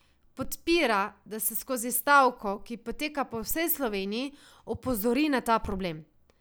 Podpira, da se skozi stavko, ki poteka po vsej Sloveniji, opozori na ta problem.